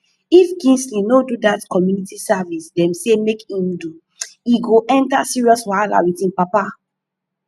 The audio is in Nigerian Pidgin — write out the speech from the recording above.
if kingsley no do dat community service dem say make im do e go enter serious wahala with im papa